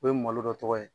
O ye malo dɔ tɔgɔ ye